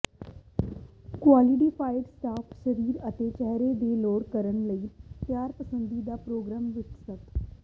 qualified staff ਸਰੀਰ ਅਤੇ ਚਿਹਰੇ ਦੇ ਲੋੜ ਕਰਨ ਲਈ ਤਿਆਰ ਪਸੰਦੀ ਦਾ ਪ੍ਰੋਗਰਾਮ ਵਿਕਸਤ